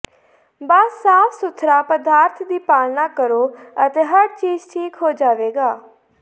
ਬਸ ਸਾਫ ਸੁਥਰਾ ਪਦਾਰਥ ਦੀ ਪਾਲਣਾ ਕਰੋ ਅਤੇ ਹਰ ਚੀਜ਼ ਠੀਕ ਹੋ ਜਾਵੇਗਾ